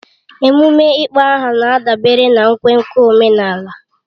Ememe ịkpọ aha na-adabere na nkwenkwe omenala